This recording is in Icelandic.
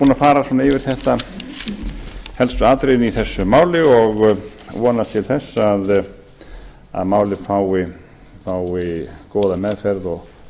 að fara svona yfir helstu atriðin í þessu máli og vonast til þess að málið fái góða meðferð og